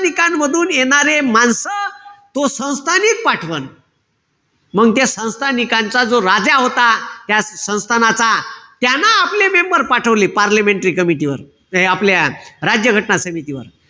निकांमधून येणारे माणसं तो संस्थानिक पाठवन. मंग ते संस्थानिकांचा जो राजा होता. त्या संस्थानाचा, त्यानं आपले member पाठवले, पार्लिमेंटरी कमिटीवर. ह हे आपल्या राज्य घटना समितीवर.